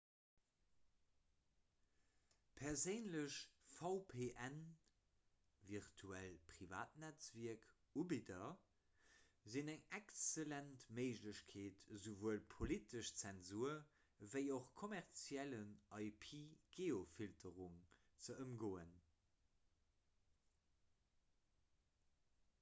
perséinlech vpnvirtuellt privatnetzwierk-ubidder sinn eng excellent méiglechkeet esouwuel politesch zensur ewéi och kommerzielle ip-geofilterung ze ëmgoen